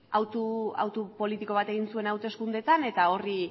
hautu politiko bat egin zuen hauteskundeetan eta